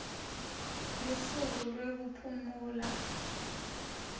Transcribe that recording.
lusuku lwekuphumula